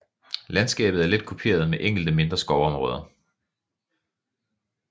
Landskabet er let kuperet med enkelte mindre skovområder